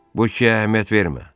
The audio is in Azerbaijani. Bu iki əhəmiyyət vermə.